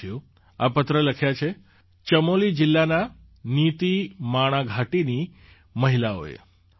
સાથીઓ આ પત્ર લખ્યા છે ચમોલી જિલ્લાના નીતીમાણા ઘાટીની મહિલાઓએ